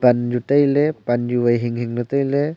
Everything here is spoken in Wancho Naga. panju tailey panju wai hing ley tailey.